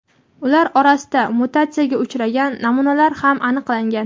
ular orasida mutatsiyaga uchragan namunalar ham aniqlangan.